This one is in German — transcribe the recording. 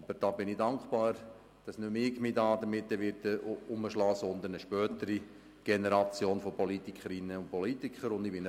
Aber ich bin dankbar, dass sich damit eine spätere Generation von Politikerinnen und Politikern herumschlagen wird und ich nicht dabei sein werde.